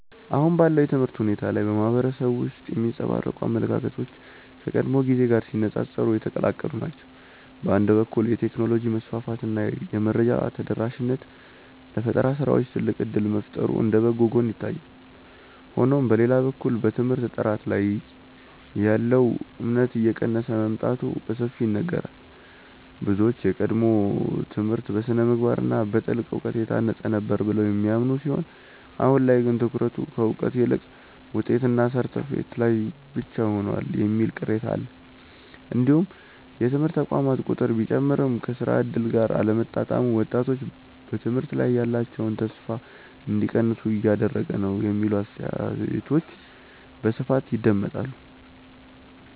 አሁን ባለው የትምህርት ሁኔታ ላይ በማህበረሰቡ ውስጥ የሚንጸባረቁ አመለካከቶች ከቀድሞው ጊዜ ጋር ሲነፃፀሩ የተቀላቀሉ ናቸው። በአንድ በኩል የቴክኖሎጂ መስፋፋት እና የመረጃ ተደራሽነት ለፈጠራ ስራዎች ትልቅ እድል መፍጠሩ እንደ በጎ ጎን ይታያል። ሆኖም በሌላ በኩል በትምህርት ጥራት ላይ ያለው እምነት እየቀነሰ መምጣቱ በሰፊው ይነገራል። ብዙዎች የቀድሞው ትምህርት በስነ-ምግባር እና በጥልቅ እውቀት የታነጸ ነበር ብለው የሚያምኑ ሲሆን አሁን ላይ ግን ትኩረቱ ከእውቀት ይልቅ ውጤትና ሰርተፍኬት ላይ ብቻ ሆኗል የሚል ቅሬታ አለ። እንዲሁም የትምህርት ተቋማት ቁጥር ቢጨምርም ከስራ እድል ጋር አለመጣጣሙ ወጣቶች በትምህርት ላይ ያላቸውን ተስፋ እንዲቀንሱ እያደረገ ነው የሚሉ አስተያየቶች በስፋት ይደመጣሉ።